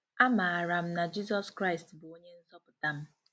Amaara m na Jizọs Kraịst bụ Onye Nzọpụta m.